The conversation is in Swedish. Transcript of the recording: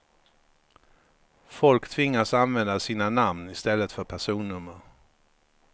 Folk tvingas använda sina namn i stället för personnummer.